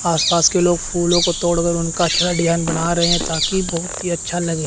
आसपास के लोग फूलों को तोड़कर उनका अच्छा डिजाइन बना रहे हैं ताकि बहुत ही अच्छा लगे।